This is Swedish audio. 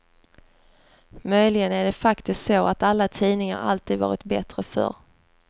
Möjligen är det faktiskt så att alla tidningar alltid varit bättre förr.